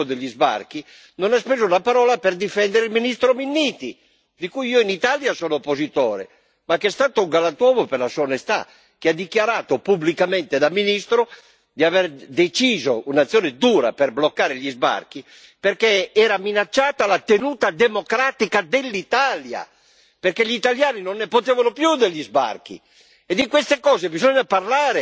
per l'Unione europea il blocco degli sbarchi, non ha speso neppure una parola per difendere il ministro Minniti, di cui io in Italia sono oppositore, ma che è stato un galantuomo per la sua onestà, dichiarando pubblicamente in qualità di ministro di aver deciso un'azione dura per bloccare gli sbarchi, perché era minacciata la tenuta democratica dell'Italia! Perché gli italiani non ne potevano più degli sbarchi!